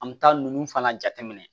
An bɛ taa ninnu fana jate minɛ